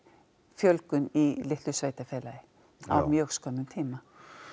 fjölgun í litlu sveitafélagi á mjög skömmum tíma